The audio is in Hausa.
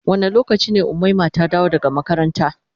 Wanda lokaci ne umaima ta dawo daga makaranta.